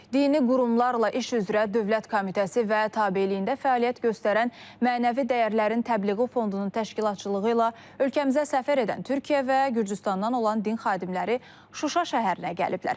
Dini qurumlarla iş üzrə Dövlət Komitəsi və tabeliyində fəaliyyət göstərən mənəvi dəyərlərin təbliği Fondunun təşkilatçılığı ilə ölkəmizə səfər edən Türkiyə və Gürcüstandan olan din xadimləri Şuşa şəhərinə gəliblər.